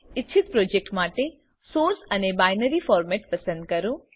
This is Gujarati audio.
ઇચ્છિત પ્રોજેક્ટ માટે સોર્સ અને બાયનરી ફોર્મેટ પસંદ કરો